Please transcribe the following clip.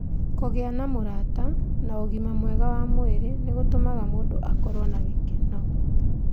Kũgĩa na mũrata na ũgima mwega wa mwĩrĩ nĩ gũtũmaga mũndũ akorũo na gĩkeno.